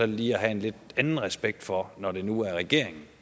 lige at have en lidt anden respekt for når det nu er regeringen